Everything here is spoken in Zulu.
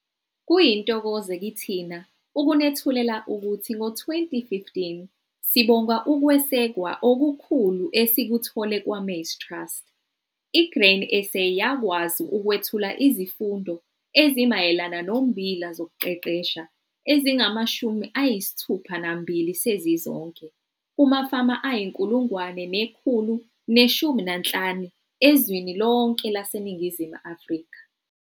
Kuyintokozo kithina ukunethulela ukuthi ngo-2015, sibonga ukwesekwa okukhulu esikuthole kwaMaize Trust, iGrain SA yakwazi ukwethula izifundo ezimayelana nommbila zokuqeqesha ezingama-62 sezizonke kumafama ayi-1 115 ezweni lonke laseNingizimu Afrika.